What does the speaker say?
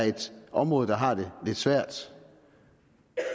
et område der har det lidt svært